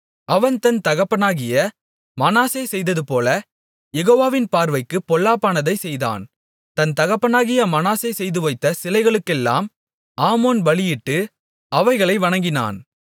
அவன் தன் தகப்பனாகிய மனாசே செய்ததுபோல யெகோவாவின் பார்வைக்குப் பொல்லாப்பானதைச் செய்தான் தன் தகப்பனாகிய மனாசே செய்துவைத்த சிலைகளுக்கெல்லாம் ஆமோன் பலியிட்டு அவைகளை வணங்கினான்